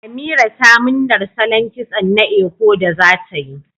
Amira ta murnar salon kitso na Eko da zatayi